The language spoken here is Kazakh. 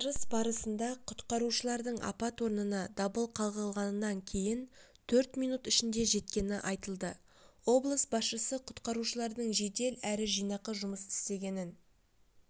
отырыс барысында құтқарушылардың апат орнына дабыл қағылғаннан кейін төрт минут ішінде жеткені айтылды облыс басшысы құтқарушылардың жәдел әрі жинақы жұмыс істегенін